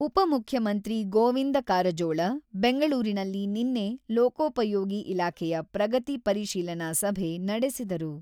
ಉಪಮುಖ್ಯಮಂತ್ರಿ ಗೋವಿಂದ ಕಾರಜೋಳ, ಬೆಂಗಳೂರಿನಲ್ಲಿ ನಿನ್ನೆ ಲೋಕೋಪಯೋಗಿ ಇಲಾಖೆಯ ಪ್ರಗತಿ ಪರಿಶೀಲನಾ ಸಭೆ ನಡೆಸಿದರು.